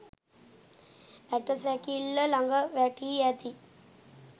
ඇට සැකිල්ල ලඟ වැටී ඇති